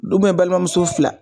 Ubiyɛn balimamuso fila